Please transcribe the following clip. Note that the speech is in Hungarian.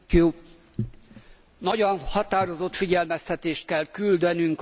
Nagyon határozott figyelmeztetést kell küldenünk az ukrán kormánynak!